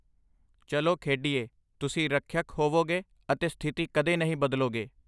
ਚਲੋ ਖੇਡੀਏ ਤੁਸੀਂ ਰੱਖਿਅਕ ਹੋਵੋਗੇ ਅਤੇ ਸਥਿਤੀ ਕਦੇ ਨਹੀਂ ਬਦਲੋਗੇ